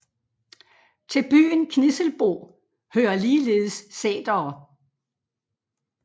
Til byen Knisselbo hører ligeledes sætere